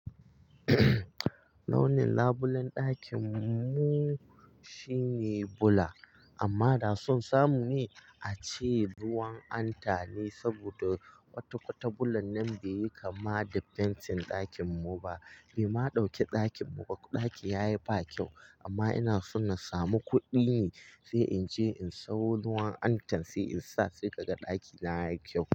Launin labulen ɗakin mu shine bula amma da sun samu ni a ci ruwan anta ne saboda kwata-kwata bulan nan bai yi kama da fentin ɗakin mu ba. Bai ma ɗauke ɗakin mu ba. Ɗaki ya yi ba kyau amma ina so na samu kuɗi ne sai in je in sayo ruwan antan sai in sa sai kada ɗakina yayi kyau.